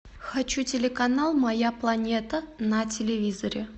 хочу телеканал моя планета на телевизоре